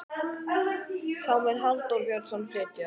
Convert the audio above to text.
þá mun halldór björnsson flytja ræðu